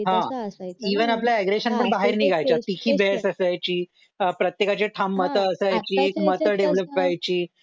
aggression पण बाहेर निघायच्या TC बेअर्स असायची प्रत्येकाचे ठाम मत असायचे मत डेव्हलप व्हायची